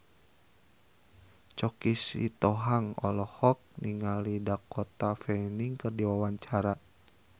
Choky Sitohang olohok ningali Dakota Fanning keur diwawancara